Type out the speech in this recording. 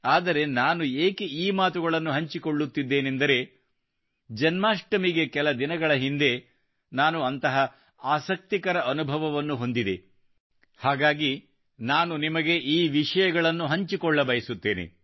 ಆದರೆ ನಾನು ಏಕೆ ಈ ಮಾತುಗಳನ್ನು ಹಂಚಿಕೊಳ್ಳುತ್ತಿದ್ದೇನೆಂದರೆ ಜನ್ಮಾಷ್ಟಮಿಗೆ ಕೆಲ ದಿನಗಳ ಹಿಂದೆ ನಾನು ಅಂತಹ ಆಸಕ್ತಿಕರ ಅನುಭವವನ್ನು ಹೊಂದಿದ್ದೇನೆ ಹಾಗಾಗಿ ನಾನು ನಿಮಗೆ ಈ ವಿಷಯಗಳನ್ನು ಹಂಚಿಕೊಳ್ಳಬಯಸುತ್ತೇನೆ